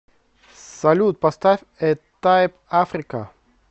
салют поставь э тайп африка